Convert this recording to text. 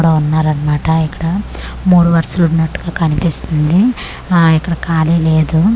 ఇక్కడ ఉన్నారన్నమాట ఇక్కడ మూడు వరసలు ఉన్నట్టుగా కనిపిస్తుంది ఆ ఇక్కడ ఖాళీ లేదు.